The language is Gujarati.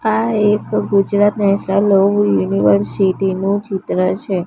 આ એક ગુજરાત નેશનલ યુનિવર્સિટી નુ ચિત્ર છે.